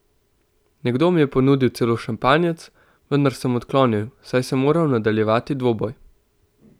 Nekdo mi je ponudil celo šampanjec, vendar sem odklonil, saj sem moral nadaljevati dvoboj.